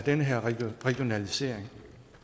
den her regionalisering